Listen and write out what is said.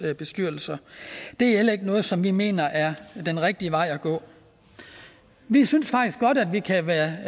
bestyrelser det er heller ikke noget som vi mener er den rigtige vej at gå vi synes faktisk godt at vi kan være